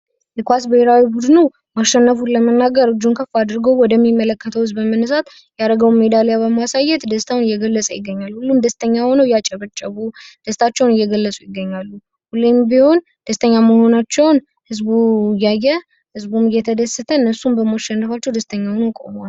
የኳስ ብሔራዊ ቡድኑ ማሸነፉን ለመናገር እጁን ከፍ አድርጎ ወደ ሚመለከተው ህዝብ ሜዳሊያውን በማሳየት ደስታውን እየገለጸ ይገኛል። ደስተኛ ሆኖ ያጨብጨቡ ደስታቸውን እየገለጹት ይገኛሉ። ሁሌም ቢሆን ደስተኛ መሆናቸውን ህዝቡ እያየ ህዝቡም እየተደስተ እነሡም በማሸነፋቸው ደስተኛ ሆነው ቆመዋል።